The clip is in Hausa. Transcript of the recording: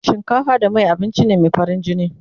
shinkafa da Mai da yaji abinci ne Mai farin jini